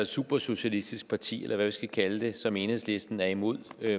supersocialistisk parti eller hvad vi skal kalde det som enhedslisten er imod